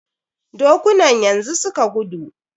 Dokunan yanzu suka gudu.